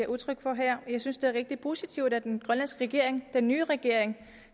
udtryk for her jeg synes det er rigtig positivt at den grønlandske regering den nye regering